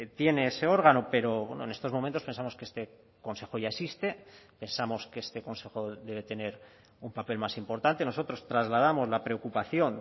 tiene ese órgano pero en estos momentos pensamos que este consejo ya existe pensamos que este consejo debe tener un papel más importante nosotros trasladamos la preocupación